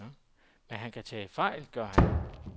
Men han tager fejl, gør han.